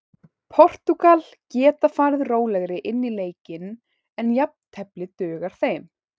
Portúgal geta farið rólegri inn í leikinn en jafntefli dugar þeim.